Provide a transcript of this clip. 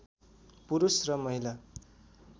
पुरुष र महिला